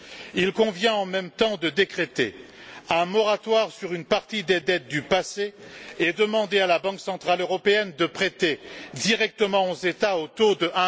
Il convient en même temps de décréter un moratoire sur une partie des dettes du passé et de demander à la Banque centrale européenne de prêter directement aux États au taux de